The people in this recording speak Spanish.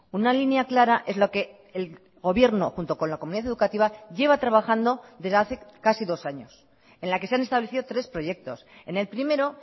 una línea clara es lo que el gobierno junto con la comunidad educativa lleva trabajando desde hace casi dos años en la que se han establecido tres proyectos en el primero